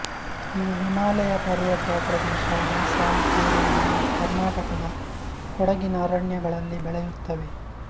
ಇವು ಹಿಮಾಲಯ ಪರ್ವತ ಪ್ರದೇಶ ಅಸ್ಸಾಮ್ ಕೇರಳ ಹಾಗೂ ಕರ್ನಾಟಕದ ಕೊಡಗಿನ ಅರಣ್ಯಗಳಲ್ಲಿ ಬೆಳೆಯುತ್ತವೆ